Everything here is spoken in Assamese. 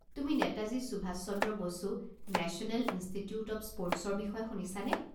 তুমি Netaji Subhas Chandra Bose national institute of sports ৰ বিষয়ে শুনিছানে?